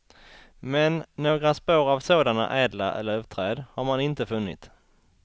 Men några spår av sådana ädla lövträd har man inte funnit.